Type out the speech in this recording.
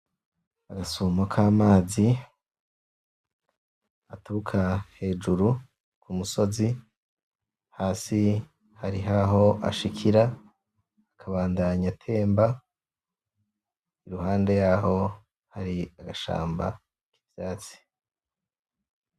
Agasumo k' amazi gaturuka hejuru k' umusozi hasi hari h aho ashikira akabandanya atemba iruhande yaho Hari agashamba k' ubwatsi.